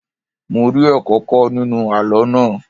Mo rí ẹ̀kọ́ kọ́ nínú àlọ́ náà.